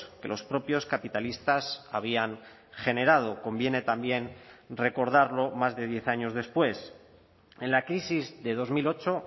que los propios capitalistas habían generado conviene también recordarlo más de diez años después en la crisis de dos mil ocho